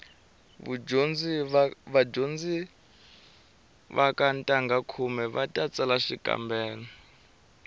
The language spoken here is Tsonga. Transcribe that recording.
vadyondzi va ka ntangha khume va ta tsala xikambelo